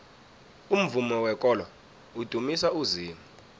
umvumo wekolo udumisa uzimu